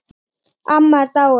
Amma er dáin.